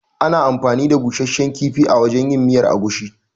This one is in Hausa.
Ana anfani da busasshen kifi wajen yin miyar agushi.